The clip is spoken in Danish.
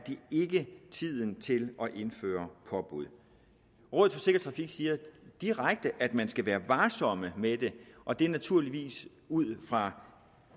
tiden til at indføre påbud rådet for sikker trafik siger direkte at man skal være varsom med det og det er naturligvis ud fra